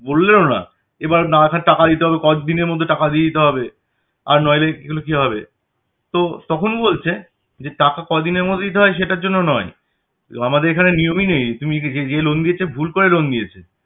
বললেন ও না এবার না আসার টাকা দিতে হলো কতদিনের মধ্যে টাকা দিয়ে দিতে হবে আর নইলে এগুলো কি হবে? তো তখন বলছে যে টাকা কদিনের মধ্যে দিতে হয় সেটার জন্য নয় আমাদের এখানে নিয়মই নেই, তুমি য~য~য~ যে loan দিয়েছে ভুল করে loan দিয়েছে